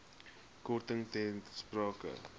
korting ter sprake